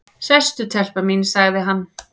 """Sestu telpa mín, sagði hann."""